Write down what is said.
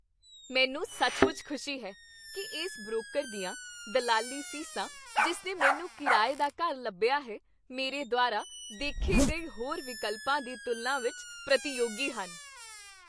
ਮੈਨੂੰ ਸੱਚਮੁੱਚ ਖੁਸ਼ੀ ਹੈ ਕਿ ਇਸ ਬ੍ਰੋਕਰ ਦੀਆਂ ਦਲਾਲੀ ਫੀਸਾਂ ਜਿਸ ਨੇ ਮੈਨੂੰ ਕਿਰਾਏ ਦਾ ਘਰ ਲੱਭਿਆ ਹੈ, ਮੇਰੇ ਦੁਆਰਾ ਦੇਖੇ ਗਏ ਹੋਰ ਵਿਕਲਪਾਂ ਦੀ ਤੁਲਨਾ ਵਿੱਚ ਪ੍ਰਤੀਯੋਗੀ ਹਨ।